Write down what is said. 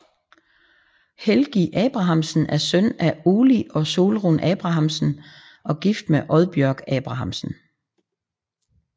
Helgi Abrahamsen er søn af Óli og Sólrun Abrahamsen og gift med Oddbjørg Abrahamsen